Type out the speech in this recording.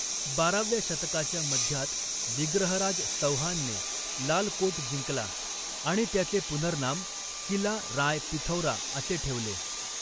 बाराव्या शतकाच्या मध्यात विग्रहराज चौहानने लाल कोट जिंकला आणि त्याचे पुनर्नाम किला राय पिथौरा असे ठेवले.